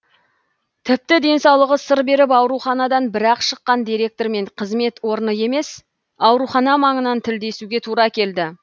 тіпті денсаулығы сыр беріп ауруханадан бірақ шыққан директормен қызмет орны емес аурухана маңынан тілдесуге тура келді